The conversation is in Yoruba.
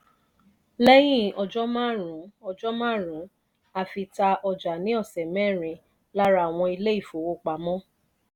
leyin ojo marun ojo marun afi ta ọjà ni osẹ́ merin lára àwọn ilé ifówopàmọ́.